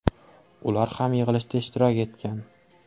Ular ham yig‘ilishda ishtirok etgan.